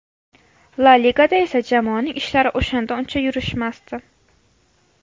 La Ligada esa jamoaning ishlari o‘shanda uncha yurishmasdi.